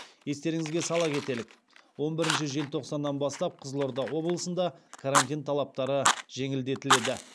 естеріңізге сала кетелік он бірінші желтоқсаннан бастап қызылорда облысында карантин талаптары жеңілдетіледі